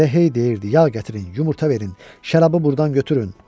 Elə hey deyirdi: yağ gətirin, yumurta verin, şərabı burdan götürün.